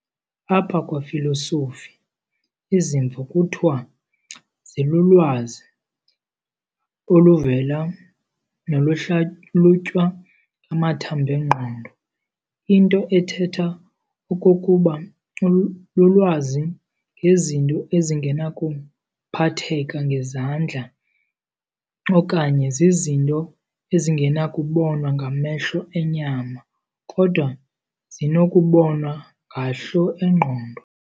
Apha kwafilosofi, izimvo kuthiwa zi"lulwazi oluvela noluhlalutywa ngamathamb'engqondo", into ethetha okokuba lulwazi ngezinto ezingenakuphatheka ngezandla okanye zizinto ezingenakubonwa ngamehlo enyama kodwa zinokubonwa ngahlo engqondo".